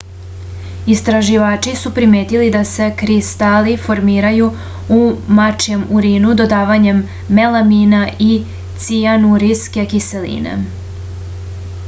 istraživači su primetili da se kristali formiraju u mačijem urinu dodavanjem melamina i cijanurinske kiseline